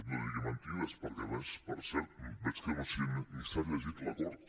no digui mentides perquè a més per cert veig que ni s’ha llegit l’acord